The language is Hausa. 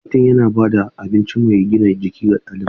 Kantin yana ba da abinci mai gina jiki ga ɗalibai.